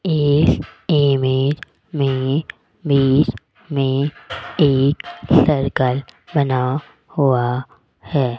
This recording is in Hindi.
इस इमेज मे बिच मे सर्कल बना हुआ है।